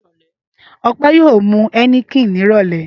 Ọpẹ́ yóò mu Heineken ní ìrọ́lẹ́.